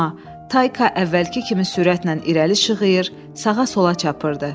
Amma Tayka əvvəlki kimi sürətlə irəli şığıyır, sağa-sola çapırdı.